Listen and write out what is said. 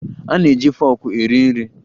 A na-eji foku eri nri.